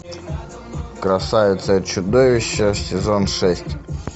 красавица и чудовище сезон шесть